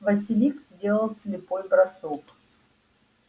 василиск сделал слепой бросок